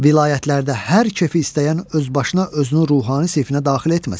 Vilayətlərdə hər kefi istəyən öz başına özünü ruhani sinfinə daxil etməsin.